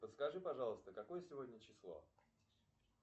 подскажи пожалуйста какое сегодня число